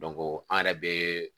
an yɛrɛ bee